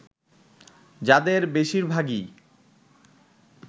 যাদের বেশিরভাগই